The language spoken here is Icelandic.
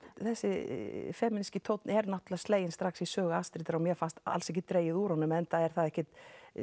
þessi femíníski tónn er náttúrulega sleginn strax í sögu Astridar og mér fannst alls ekki dregið úr honum enda er það ekkert